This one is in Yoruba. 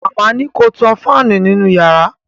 Màmá ni ko tan fáànù nínú yàrá